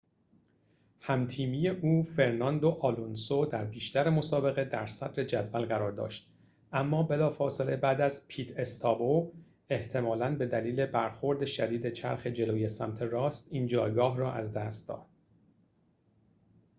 هم تیمی او فرناندو آلونسو در بیشتر مسابقه در صدر جدول قرار داشت اما بلافاصله بعد از پیت استاپ او احتمالاً به دلیل برخورد شدید چرخ جلوی سمت راست این جایگاه را از دست داد